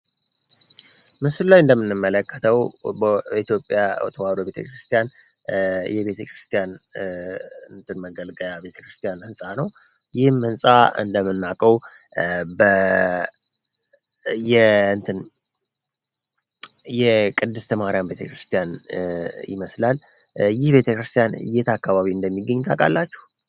ምስል ላይ እንደምንመለከተው ኢትዮጵያ ተዋዶ ቤተክርስቲያን የቤተክርስቲያን ንትን መገልገያ ቤተክርስቲያን ህንፃ ነው ይህም እንፃ እንደምናቀው የቅድስት ማህሪያን ቤተክርስቲያን ይመስላል። ይህ ቤተክርስቲያን እየተ አካባቢ እንደሚገኝት አቃላችሁ